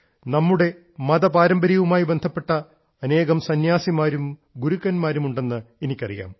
നമ്മുടെ മതപാരമ്പര്യവുമായി ബന്ധപ്പെട്ട അനേകം സന്യാസിമാരും ഗുരുക്കന്മാരും ഉണ്ടെന്ന് എനിക്കറിയാം